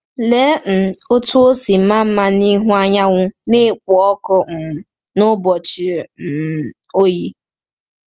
Lee um otú o si maa mma ịhụ anyanwụ na-ekpo ọkụ um n’ụbọchị um oyi!